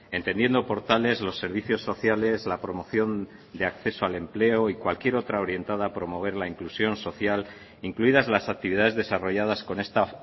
entendiendo por tales los servicios sociales la promoción de acceso al empleo y cualquier otra orientada a promover la inclusión social incluidas las actividades desarrolladas con esta